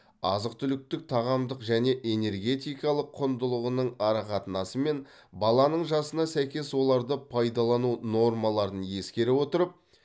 азық түліктің тағамдық және энергетикалық құндылығының арақатынасы мен баланың жасына сәйкес оларды пайдалану нормаларын ескере отырып